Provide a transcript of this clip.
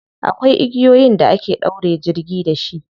Akwai igiyoyin da ake ɗaure jirgi da shi.